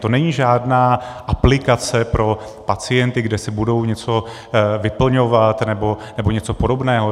To není žádná aplikace pro pacienty, kde si budou něco vyplňovat nebo něco podobného.